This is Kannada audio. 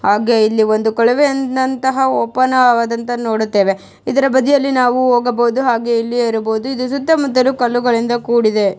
ಆಗ ಇಲ್ಲಿ ಒಂದು ಕೊಳವೆನಂತಹ ಓಪನ್ ಹಾಗದಂತ ನೋಡುತ್ತೇವೆ. ಇದರ ಬದಿಯಲ್ಲಿ ನಾವು ಹೋಗಬಹುದು ಹಾಗು ಇಲ್ಲೇ ಇರಬಹುದು. ಇದು ಸುತ್ತ ಮುತ್ತಲು ಕಲ್ಲುಗಳಿಂದ ಕೂಡಿದೆ.